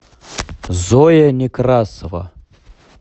зоя некрасова